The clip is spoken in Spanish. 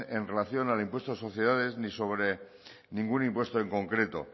en relación al impuesto de sociedades ni sobre ningún impuesto en concreto